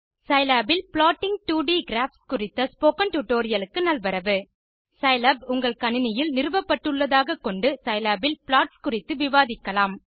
Scilab இல் plotting 2ட் graphs குறித்த ஸ்போக்கன் டியூட்டோரியல் க்கு நல்வரவு சிலாப் உங்கள் கணினியில் நிறுவப்பட்டுள்ளதாகக் கொண்டு சிலாப் இல் ப்ளாட்ஸ் குறித்து விவாதிக்கலாம்